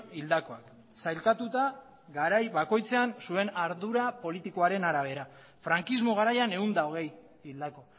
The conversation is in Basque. hildakoak sailkatuta garai bakoitzean zuen ardura politikoaren arabera frankismo garaian ehun eta hogei hildako